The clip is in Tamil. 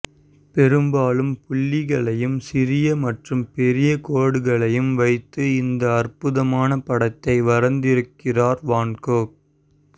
பெரும்பாலும் புள்ளிகளையும் சிறிய மற்றும் பெரிய கோடுகளையும் வைத்து இந்த அற்புதமான படத்தை வரைந்திருக்கிறார் வான் கோக்